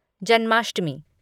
Janmashtami